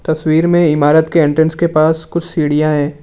तस्वीर में इमारत के एंट्रेंस के पास कुछ सीढ़ियां है।